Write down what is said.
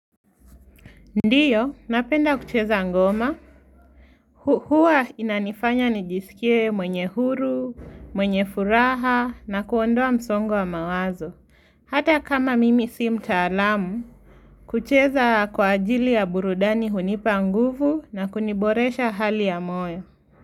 Ndiyo, napenda kucheza ngoma. Huwa inanifanya nijisikie mwenye huru, mwenye furaha, na kuondoa msongo wa mawazo. Hata kama mimi si mtaalamu, kucheza kwa ajili ya burudani hunipa nguvu na kuniboresha hali ya moyo.